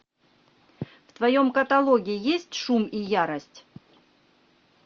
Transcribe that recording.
в твоем каталоге есть шум и ярость